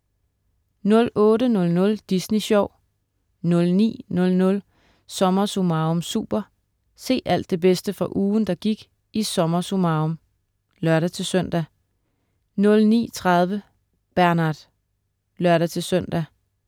08.00 Disney Sjov* 09.00 SommerSummarum Super. Se alt det bedste fra ugen, der gik i "SommerSummarum" (lør-søn) 09.30 Bernard (lør-søn)